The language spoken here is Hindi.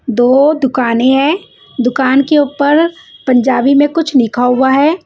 दो दुकाने है दुकान के उपर पंजाबी में कुछ लिखा हुआ है।